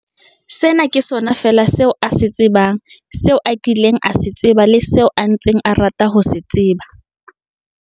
Sena ke sona feela seo a se tsebang, seo a kileng a se tseba le seo a ntseng a rata ho se tseba.